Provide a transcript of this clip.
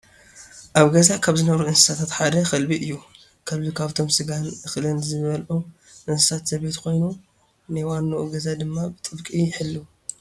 ኣብ ገዛ ካብ ዝነብሩ እንስሳታት ሓደ ከልቢ እዩ፡፡ ከልቢ ካብቶም ስጋን እኽልን ዝበልዑ እንስሳ ዘቤት ኮይኑ ናይ ዋንኡ ገዛ ድማ ብጥብቂ ይሕልው፡፡